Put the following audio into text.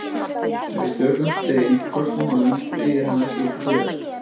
Ef við tökum upp stein og köstum honum sveigir hann ekki til hliðar.